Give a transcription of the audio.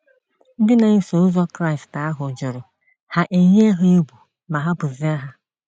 Ndị na-eso ụzọ Kraịst ahụ jụrụ, ha e yie ha egwu ma hapụzie ha.